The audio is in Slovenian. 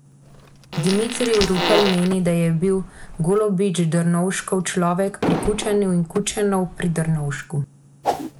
Dimitrij Rupel meni, da je bil Golobič Drnovškov človek pri Kučanu in Kučanov pri Drnovšku.